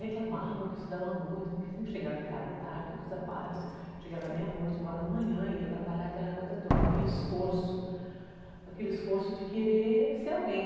Reclamava que estudava muito, porque sempre chegava em casa tarde do trabalho, chegava meia-noite, uma hora da manhã e ia trabalhar aquela coisa toda, aquele esforço, aquele esforço de querer ser alguém.